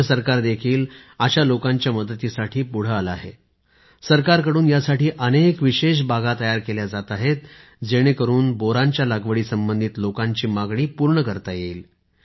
राज्य सरकार देखील अशा लोकांच्या मदतीसाठी पुढे आले आहे सरकारकडून यासाठी अनेक विशेष बागा तयार केल्या जात आहेत जेणेकरून बोरांच्या लागवडी संबंधित लोकांची मागणी पूर्ण करता येईल